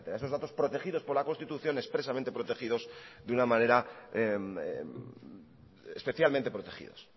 esos datos protegidos por la constitución expresamente protegidos de una manera especialmente protegidos